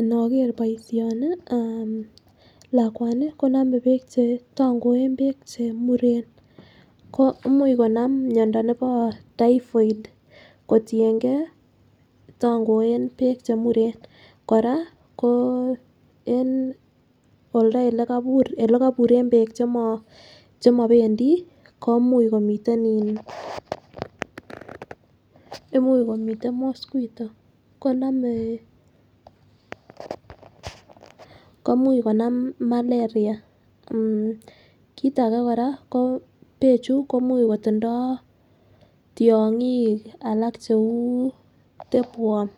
Inoker boishoni aah lakwani konome beek che tongoen beek che chemuren ko imuch Konam miondo nebo typhoid kotiyengee tongoen beek chemuren . Koraa en olda lekobur ole koburen beek chemo chemopendii komuch komiten in imuch komiten mosquito konomee komuch konam malaria .kit age koraa ko bechu komuch kotindoo tyonkik alak cheu tapeworm